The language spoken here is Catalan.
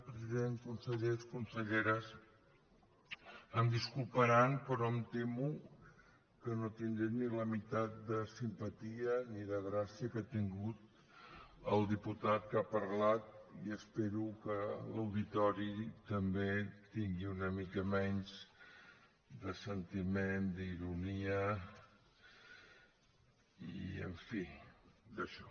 president consellers conselleres em disculparan però em temo que no tindré ni la meitat de simpatia ni de gràcia que ha tingut el diputat que ha parlat i espero que l’auditori també tingui una mica menys de sentiment d’ironia i en fi d’això